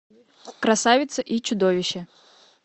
красавица и чудовище